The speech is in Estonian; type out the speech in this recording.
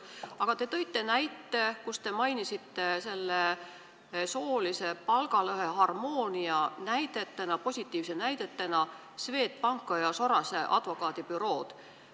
Aga te tõite näite ja mainisite soolise palgalõhe harmoonia positiivsete näidetena Swedbanki ja Soraise advokaadibürood.